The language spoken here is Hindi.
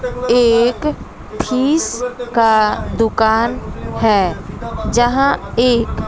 एक फीस का दुकान है जहां एक--